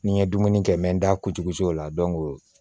Ni n ye dumuni kɛ n bɛ n da kutukusi o la